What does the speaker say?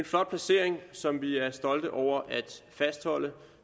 flot placering som vi er stolte over at fastholde